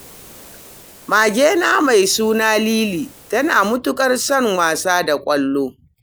Magena mai suna Lili tana mutuƙar son wasa da ƙwallo